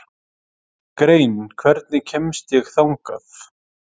Grein, hvernig kemst ég þangað?